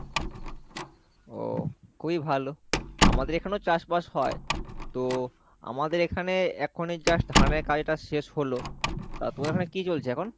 ও খুবই ভালো আমাদের এখানেও চাষবাস হয়, তো আমাদের এখানে এখনই just ধানের কাজটা শেষ হলো, তা তোমাদের এখানে কি চলছে এখন?